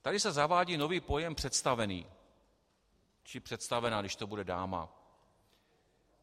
Tady se zavádí nový pojem "představený" či představená, když to bude dáma.